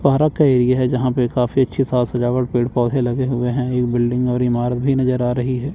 Park का area है यहां पे काफी अच्छी साज सजावट पेड़ पौधे लगे हुए हैं एक बिल्डिंग और इमारत भी नजर आ रही हैं।